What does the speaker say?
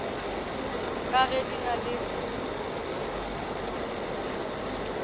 ka ge di na le